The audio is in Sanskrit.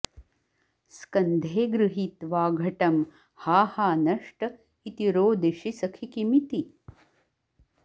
स्कन्धे गृहीत्वा घटं हा हा नष्ट इति रोदिषि सखि किमिति